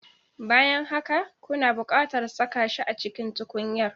Bayan haka, kuna buƙatar saka shi a cikin tukunyar